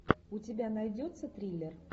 у тебя найдется триллер